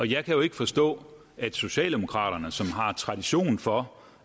jeg kan jo ikke forstå at socialdemokraterne som har tradition for